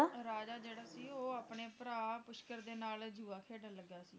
ਰਾਜਾ ਜਿਹੜਾ ਸੀ ਉਹ ਆਪਣੇ ਭਰਾ ਪੁਸ਼ਕਰ ਦੇ ਨਾਲ ਜੂਆ ਖੇਡਣ ਲੱਗਿਆ ਸੀ